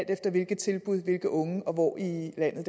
efter hvilke tilbud hvilke unge og hvor i landet